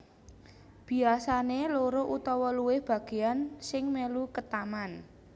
Biyasane loro utawa luwih bageyan sing melu ketaman